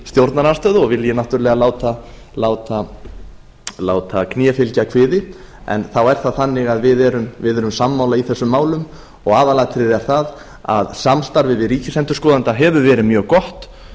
stjórnarandstöðu og vilji náttúrlega láta kné fylgja kviði þá er það þannig að við erum sammála í þessum málum og aðalatriðið er það að samstarfið við ríkisendurskoðanda hefur verið mjög gott